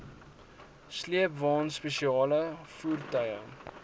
sleepwaens spesiale voertuie